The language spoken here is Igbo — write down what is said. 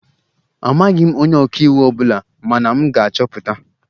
Amaghị m onye ọka iwu ọ bụla mana m ga-achọpụta